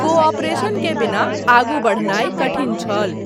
Cooperation के बिना आगू बढ़नाय कठिन छल।